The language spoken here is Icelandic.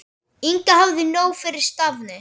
Inga hafði nóg fyrir stafni.